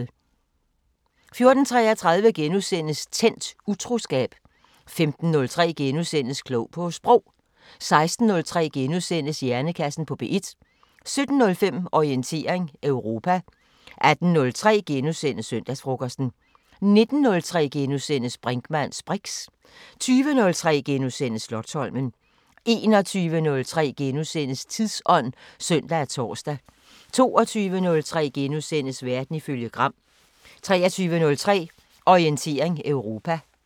14:33: Tændt: Utroskab * 15:03: Klog på Sprog * 16:03: Hjernekassen på P1 * 17:05: Orientering Europa 18:03: Søndagsfrokosten * 19:03: Brinkmanns briks * 20:03: Slotsholmen * 21:03: Tidsånd *(søn og tor) 22:03: Verden ifølge Gram * 23:03: Orientering Europa